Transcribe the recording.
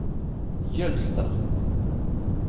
Jølster